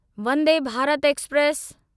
Vande Bharat express